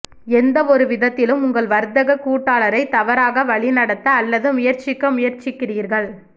எந்தவொரு விதத்திலும் உங்கள் வர்த்தக கூட்டாளரை தவறாக வழிநடத்த அல்லது முயற்சிக்க முயற்சிக்கிறீர்கள்